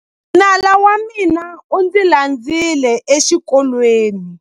Nala wa mina u ndzi landzile exikolweni.